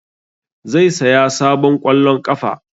Zai saya sabon ƙwallon ƙafa